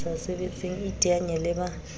sa sebetseng iteanye le ba